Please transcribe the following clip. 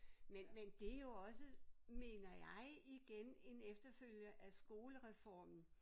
Men men det jo også mener jeg igen en efterfølger af skolereformen